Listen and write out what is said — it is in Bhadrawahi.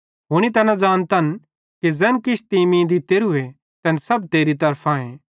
हुनी तैना ज़ानतन कि ज़ैन किछ तीं मीं दित्तेरू तैन सब तेरी तरफांए